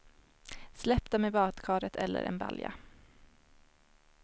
Släpp dem i badkaret eller en balja.